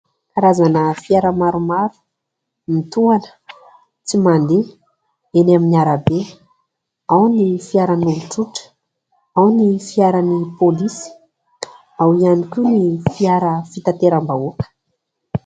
Karazana fiara maromaro mitohana tsy mandeha eny amin'ny arabe : ao ny fiaran'olon-tsotra ao ny fiaran'ny pôlisy, ao ihany koa ny fiara fitateram-bahoaka.